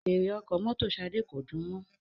Fèèrè ọkọ̀ mọ́tò Shade ko dùn mò